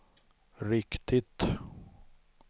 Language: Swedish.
riktigt